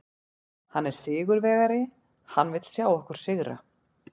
Hann er sigurvegari, hann vill sjá okkur sigra.